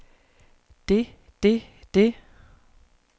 det det det